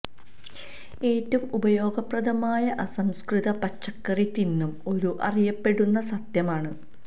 ഏറ്റവും ഉപയോഗപ്രദമായ അസംസ്കൃത പച്ചക്കറി തിന്നും ഒരു അറിയപ്പെടുന്ന സത്യം ആണ്